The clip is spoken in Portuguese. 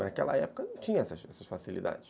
Naquela época não tinha essas essas facilidades.